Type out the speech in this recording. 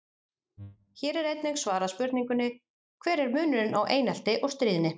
Hér er einnig svarað spurningunni: Hver er munurinn á einelti og stríðni?